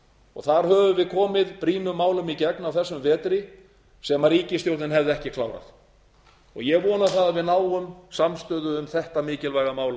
og þar höfum við komið brýnum málum í gegn á þessum vetri sem ríkisstjórnin hefði ekki klárað og ég vona að við náum samstöðu um þetta mikilvæga mál á